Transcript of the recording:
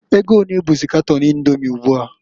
Ego onee bụzị katon Indomi ugbua?